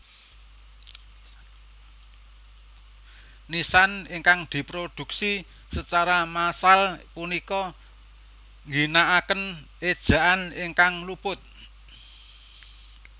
Nisan ingkang dipunproduksi secara massal punika ngginaaken ejaan ingkang luput